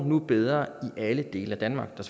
nu går bedre i alle dele af danmark der